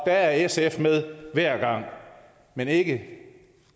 er sf med hver gang men ikke